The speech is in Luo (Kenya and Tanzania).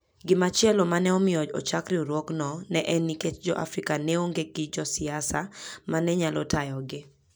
Gimachielo ma ne omiyo ochak riwruogno ne en nikech Jo-Afrika ne onge gi josiasa ma ne nyalo tayogi.